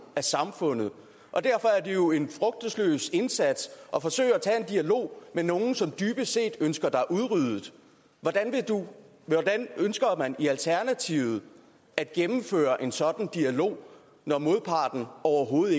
af samfundet og derfor er det jo en frugtesløs indsats at forsøge at tage en dialog med nogle som dybest set ønsker dig udryddet hvordan ønsker man i alternativet at gennemføre en sådan dialog når modparten overhovedet